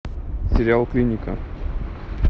сериал клиника